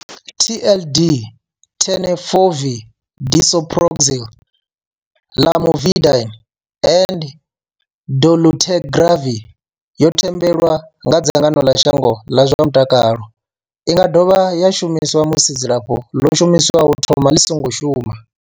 TLD Tenofovir disoproxil, Lamivudine and dolutegravir yo themendelwa nga dzangano ḽa shango ḽa zwa mutakalo. I nga dovha ya shumiswa musi dzilafho ḽo shumiswaho u thomani ḽi songo shuma.